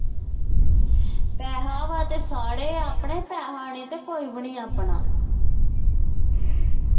ਪੈਸੇ ਆ ਤਰਾਂ ਸਾਰੇ ਆਪਣੇ ਪੈਸੇ ਨਹੀਂ ਤੇ ਕੋਈ ਵੀ ਨੀ ਆਪਣਾ